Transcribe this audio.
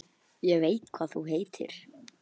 Ég veit hvað þú heitir.